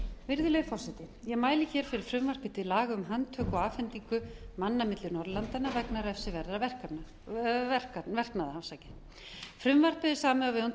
virðulegi forseti ég mæli hér fyrir frumvarpi til laga um handtöku og afhendingu manna milli norðurlandanna vegna refsiverðra verknaða frumvarpið er samið á vegum